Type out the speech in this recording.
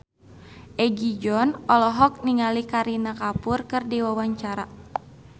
Egi John olohok ningali Kareena Kapoor keur diwawancara